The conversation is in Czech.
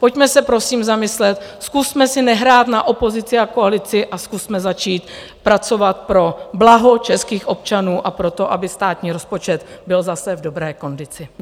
Pojďme se prosím zamyslet, zkusme si nehrát na opozici a koalici a zkusme začít pracovat pro blaho českých občanů a pro to, aby státní rozpočet byl zase v dobré kondici.